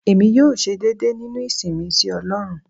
Èmi yóò ṣe déédé nínú ìsìn mi sí ọlọ́run.